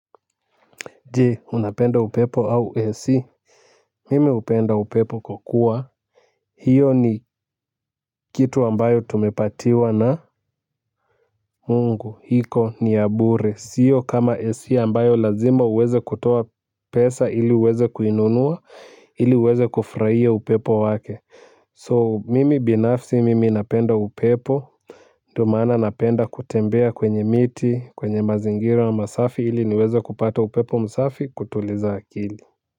Je, unapenda upepo au AC? Mimi hupenda upepo kwa kuwa hiyo ni kitu ambayo tumepatiwa na mungu iko ni ya bure sio kama AC ambayo lazima uweze kutoa pesa ili uweze kuinunua ili uweze kufurahia upepo wake so mimi binafsi mimi napenda upepo ndio maana napenda kutembea kwenye miti, kwenye mazingira masafi ili niweze kupata upepo msafi kutuliza akili.